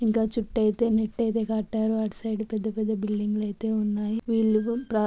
ఇంకా చుట్టూ అయితే నెట్ అయితే కట్టారు. వాడు సైడ్ పెద్ద పెద్ద బిల్డింగ్ లు అయితే ఉన్నాయి.వీళ్లు--